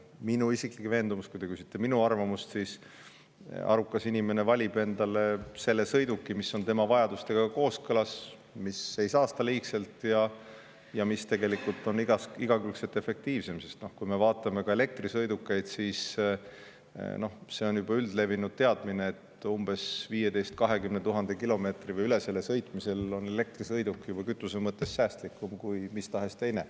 Minu isiklik veendumus, kui te küsite minu arvamust, on see, et arukas inimene valib endale selle sõiduki, mis on tema vajadustega kooskõlas, mis ei saasta liigselt ja mis on igakülgselt efektiivsem, sest kui me vaatame ka elektrisõidukeid, siis on üldlevinud teadmine, et umbes 15 000 – 20 000 kilomeetri või üle selle sõitmisel on elektrisõiduk juba kütuse mõttes säästlikum kui mis tahes teine.